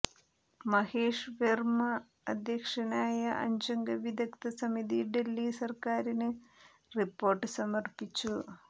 മഹേഷ് വെർമ അധ്യക്ഷനായ അഞ്ചംഗ വിദഗ്ധ സമിതി ഡൽഹി സർക്കാരിന് റിപ്പോർട്ട് സമർപ്പിച്ചു